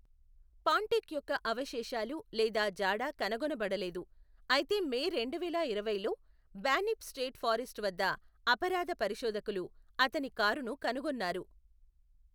పాంటిక్ యొక్క అవశేషాలు లేదా జాడ కనుగొనబడలేదు, అయితే మే రెండువేల ఇరవైలో బాన్యిప్ స్టేట్ ఫారెస్ట్ వద్ద అపరాధ పరిశోధకులు అతని కారును కనుగొన్నారు.